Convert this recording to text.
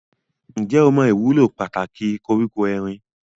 Ǹjẹ́ o mọ ìwúlò pàtàkì koríko erin?